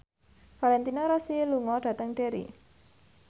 Valentino Rossi lunga dhateng Derry